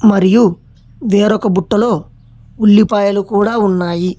మరియు వేరొక బుట్టలో ఉల్లిపాయలు కూడా ఉన్నాయి.